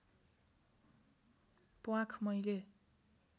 प्वाँख मैले